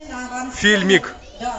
фильмик